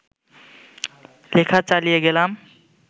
লেখা চালিয়ে গেলাম